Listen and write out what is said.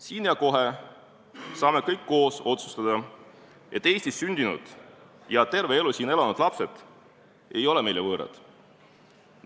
Siin ja kohe saame kõik koos otsustada, et Eestis sündinud ja terve elu siin elanud lapsed ei ole meile võõrad.